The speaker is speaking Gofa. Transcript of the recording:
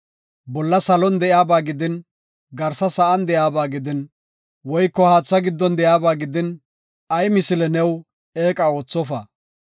“Bolla salon de7iyaba gidin, garsa sa7an de7iyaba gidin, woyko haatha giddon de7iyaba gidin, ay misile new eeqa oothofa.